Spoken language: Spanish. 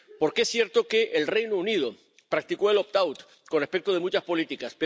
Porque es cierto que el Reino Unido practicó el opt out con respecto de muchas políticas.